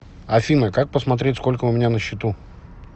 афина как посмотреть сколько у меня на счету